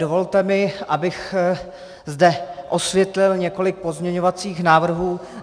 Dovolte mi, abych zde vysvětlil několik pozměňovacích návrhů.